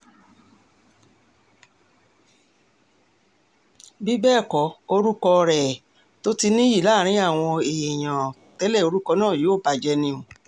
bí bẹ́ẹ̀ kọ orúkọ rẹ̀ um tó ti níyì láàrin àwọn èèyàn um tẹ́lẹ̀ orúkọ náà yóò bàjẹ́ ni o